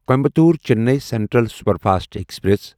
Coimbatore Chennai central superfast express